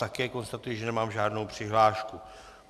Také konstatuji, že nemám žádnou přihlášku.